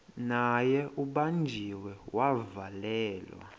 naye ubanjiwe wavalelwa